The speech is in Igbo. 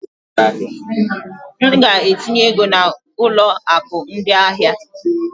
M ga-etinye ego na ụlọ akụ ndị ahịa.